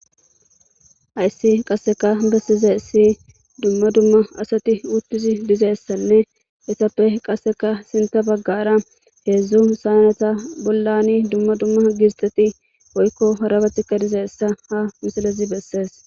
ayssi qasseka bessize ssi dumma dumma asati uttus dizeessanne etappe qasseka sinta baggara heedzdzu sayanata bollani dumma dumma gistati oykko harabatikka dizeessa ha misalezi bessees